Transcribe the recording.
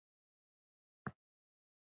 Sem mun ekki gerast.